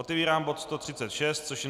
Otevírám bod 136, což je